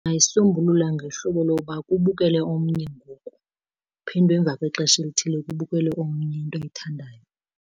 Ndingayisombulula ngohlobo loba kubukele omnye ngoku kuphindwe emva kwexesha elithile kubukele omnye into ayithandayo.